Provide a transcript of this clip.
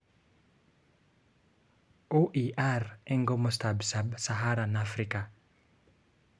OER eng komostab Sub-Saharan Afrika